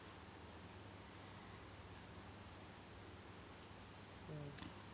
ഉം